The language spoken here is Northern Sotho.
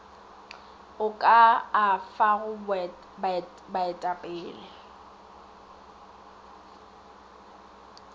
o ka a fago baetapele